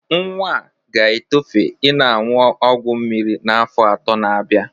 Nwa a ga-etofe i na-aṅụ ọgwọ mmiri n'afọ ato na-abia.